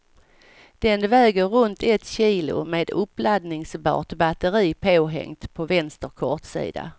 Den väger runt ett kilo med uppladdningsbart batteri påhängt på vänster kortsida.